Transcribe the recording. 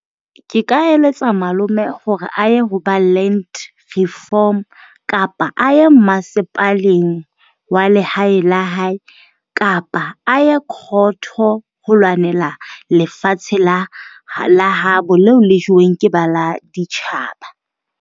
Ke ka eletsa malome hore a ye ho ba land reform kapa a ye masepaleng wa lehae la hae kapa a ye court-o ho lwanela lefatshe la habo leo le jeweng ke ba la ditjhaba.